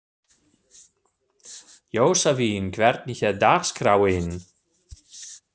Jósavin, hvernig er dagskráin?